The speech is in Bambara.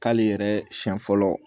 K'ale yɛrɛ siɲɛ fɔlɔ